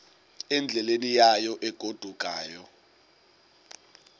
endleleni yayo egodukayo